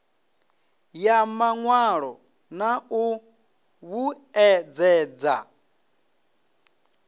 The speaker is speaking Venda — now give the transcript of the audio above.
ya mawalo na u vhuedzedza